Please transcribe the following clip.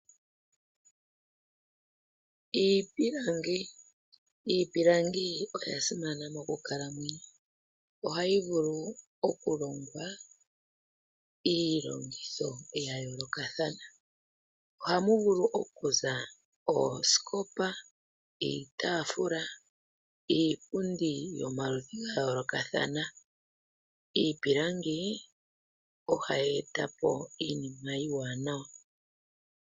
Iipilangi, iipilangi oya simana mokukalamwenyo ohayi vulu okulongwa iilongitho ya yoolokathana. Ohamu vulu oku za oosikopa, iitaafula, iipundi yomaludhi ga yoolokathana. Iipilangi ohayi eta po iinima iiwanawa